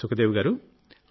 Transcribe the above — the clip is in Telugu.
సుఖదేవి గారూ